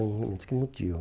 É um elemento que motiva.